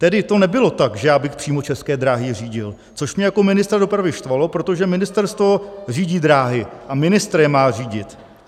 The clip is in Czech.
Tedy to nebylo tak, že já bych přímo České dráhy řídil, což mě jako ministra dopravy štvalo, protože ministerstvo řídí dráhy a ministr je má řídit.